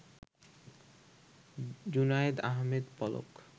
Junaid Ahmed Palak